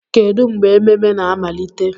Kedu mgbe ememe na-amalite?